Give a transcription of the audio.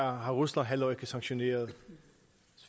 har rusland heller ikke sanktioneret